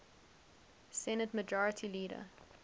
senate majority leader